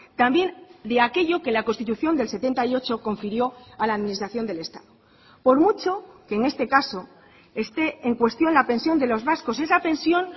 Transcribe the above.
también de aquello que la constitución del setenta y ocho confirió a la administración del estado por mucho que en este caso esté en cuestión la pensión de los vascos esa pensión